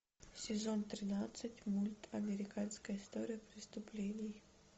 сезон тринадцать мульт американская история преступлений